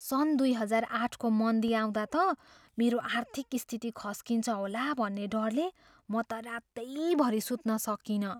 सन् दुई हजार आठको मन्दी आउँदा त मेरो आर्थिक स्थिति खस्किन्छ होला भन्ने डरले म त रातैभरि सुत्न सकिनँ।